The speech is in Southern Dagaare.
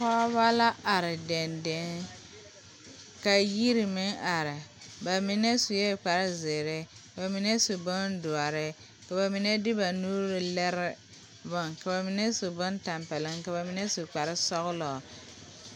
Pɔgeba la are dendeŋ ka yiri meŋ are ba mine sue kparezeere ka ba mine su bondoɔre ka ba mine de ba nuuri lere bone ka ba mine su bontɛmpɛloŋ ka ba mine su kparesɔglɔ.